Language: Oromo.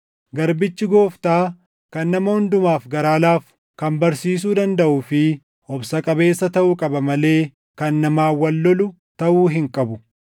Garbichi Gooftaa kan nama hundumaaf garaa laafu, kan barsiisuu dandaʼuu fi obsa qabeessa taʼuu qaba malee kan namaan wal lolu taʼuu hin qabu.